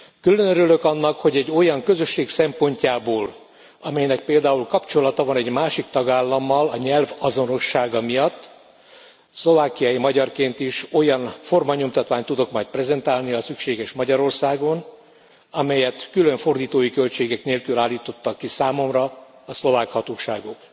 Külön örülök annak, hogy egy olyan közösség szempontjából, amelynek például kapcsolata van egy másik tagállammal a nyelv azonossága miatt, szlovákiai magyarként is olyan formanyomtatványt tudok majd prezentálni, ha szükséges, Magyarországon, amelyet külön fordítói költségek nélkül állítottak ki számomra a szlovák hatóságok.